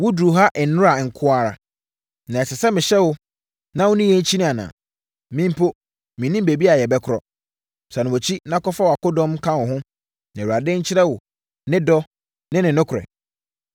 Woduruu ha nnora nko ara. Na ɛsɛ sɛ mehyɛ wo na wo ne yɛn kyini anaa? Me mpo, mennim baabi a yɛbɛkorɔ. Sane wʼakyi na kɔfa wʼakodɔm ka wo ho, na Awurade nkyerɛ wo ne dɔ ne ne nokorɛ.”